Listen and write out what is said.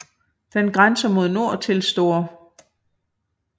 Den grænser mod nord til St